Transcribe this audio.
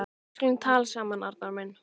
Við skulum tala saman, Arnar minn.